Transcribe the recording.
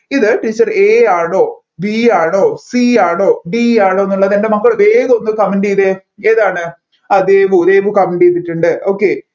ഇത് teacher A യാണോ B യാണോ C യാണോ D യാണോ എന്നുള്ളത് എൻ്റെ മക്കൾ വേഗം ഒന്ന് comment ചെയ്തേ ഏതാണ് ആ ദേവു ദേവു comment ചെയ്തിട്ടുണ്ട്